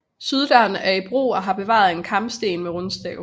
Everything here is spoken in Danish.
Syddøren er i brug og har bevaret en karmsten med rundstav